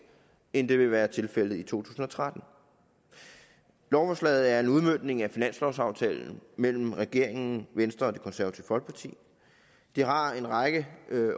end det ville have været tilfældet i to tusind og tretten lovforslaget er en udmøntning af finanslovsaftalen mellem regeringen venstre og det konservative folkeparti det har en række